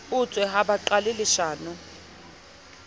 utswe ha ba qale leshano